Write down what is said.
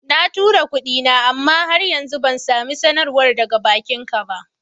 Na tura kuɗin, amma har yanzu bai samu sanarwar daga bankinsa ba.